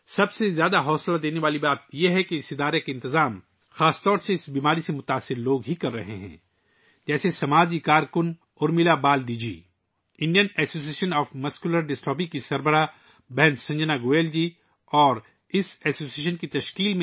سب سے حوصلہ افزا بات یہ ہے کہ اس تنظیم کا انتظام بنیادی طور پر اس بیماری میں مبتلا لوگ کرتے ہیں، جیسے سماجی کارکن Urmila Baldi ji, Indian association of muscular dystrophy کی صدر سسٹر سنجنا گوئل جی اور اس ایسوسی ایشن کے دیگر ممبران